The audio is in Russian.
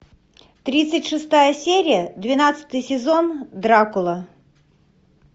тридцать шестая серия двенадцатый сезон дракула